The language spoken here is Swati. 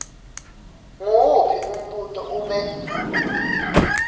nguwuphi umbuto ube